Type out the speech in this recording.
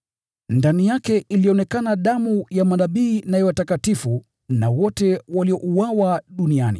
Ndani yake ilionekana damu ya manabii na ya watakatifu na wote waliouawa duniani.”